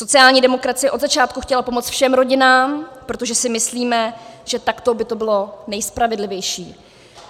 Sociální demokracie od začátku chtěla pomoci všem rodinám, protože si myslíme, že takto by to bylo nejspravedlivější.